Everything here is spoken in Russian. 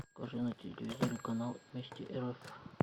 покажи на телевизоре канал вместе рф